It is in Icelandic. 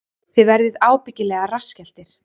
Þið verðið ábyggilega rassskelltir